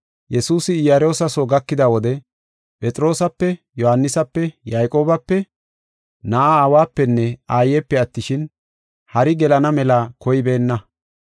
Yesuusi Iyaroosa soo gakida wode Phexroosape, Yohaanisape, Yayqoobape, na7e aawapenne aayepe attishin, hari gelana mela koybeenna.